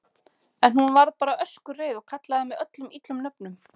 En hún. varð bara öskureið og kallaði mig öllum illum nöfnum.